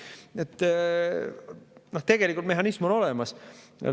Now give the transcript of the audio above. Nii et tegelikult mehhanism on olemas.